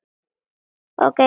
Lalli horfði á með aðdáun.